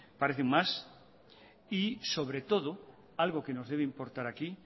parecen más y sobre todo algo que nos debe importar aquí